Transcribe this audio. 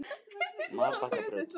Marbakkabraut